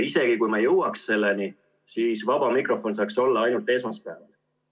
Isegi kui me jõuaksime selleni, siis vaba mikrofon saaks olla ainult esmaspäeval.